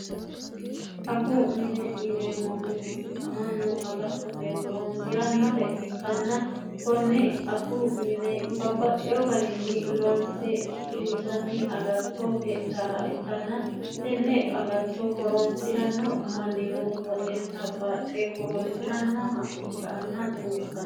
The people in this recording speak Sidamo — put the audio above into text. aggu mine ineemmohu amannu agattote horoonsi'rannore ikkanna konne aggu mine babbaxxeho garinni loonse shiqinshanni agattoo heedhaha ikkanna tenne agatto horoonsi'ranno mannino woxeensa baaxxe horoonsi'rannooha ikka anna xawisano